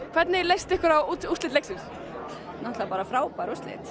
hvernig leist ykkur á úrslitin frábær úrslit